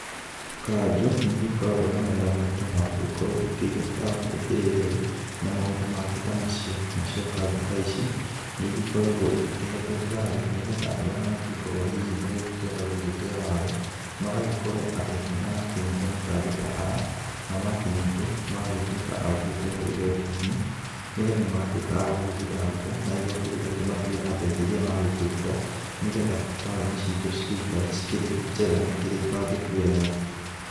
Kanjũ nĩigĩkoragwo na mawĩra maritũ magũgĩkorwo ikĩiga taũni ici ikĩrĩ theru na maũndũ mangĩ ta macio. Nacio kanjũ ta ici, nĩigĩkoragwo ikĩhetwo ngari nĩgetha andũ arĩa hihi mangĩgĩkorwo magĩkĩaga gũgĩtĩa watho magagĩkorwo atĩ nĩmarakĩnyitwo nĩ kanjũ ta aya na makĩnyitwo magagĩtuĩka agũgĩtwar igoti-inĩ nĩgetha magagĩtuĩka agũgĩthitangwo na igoti rigakĩmatuĩra mbeca iria magũkĩruta nĩgetha taũni ciitũ cigĩikare cikĩrĩ njega na ikĩrĩ bangĩku wega.